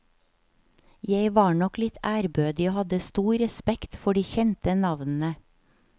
Jeg var nok litt ærbødig og hadde stor respekt for de kjente navnene.